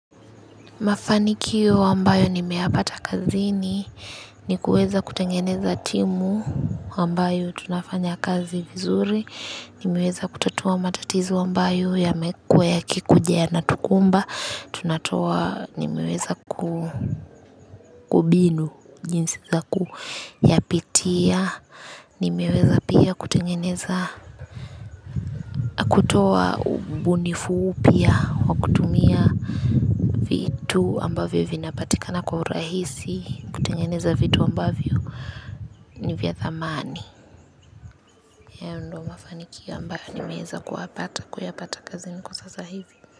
Mafanikio ambayo nimeyapata kazini ni kueza kutengeneza timu ambayo tunafanya kazi vizuri, nimeweza kutatua matatizo ambayo yamekuwa yakikuja yanatukumba, tunatoa nimeweza kubinu jinsi za kuyapitia, nimeweza pia kutengeneza kutoa ubunifu upya, wa kutumia vitu ambavyo vinapatikana kwa urahisi, kutengeneza vitu ambavyo ni vya thamani hayo ndio mafanikio ambayo nimeweza kuyapata kazini kwa sasa hivi.